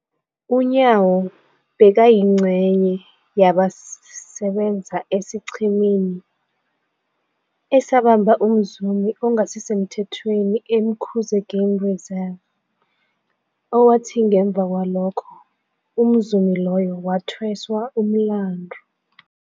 UNyawo bekayingcenye yabasebenza esiqhemeni esabamba umzumi ongasisemthethweni e-Umkhuze Game Reserve, owathi ngemva kwalokho umzumi loyo wathweswa umlandu.